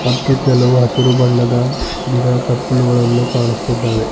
ಮತ್ತು ಕೆಲವು ಹಸಿರು ಬಣ್ಣದ ಗಿಡ ತಪ್ಪಲುಗಳನ್ನು ಕಾಣುಸ್ತಿದ್ದಾವೆ.